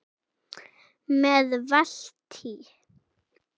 Með Valtý